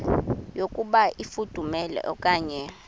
yokuba ifudumele okanye